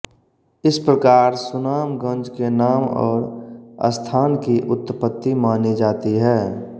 इस प्रकार सुनामगंज के नाम और स्थान की उत्पत्ति मानी जाती है